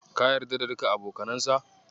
Ka yarda da kuka abokanansa?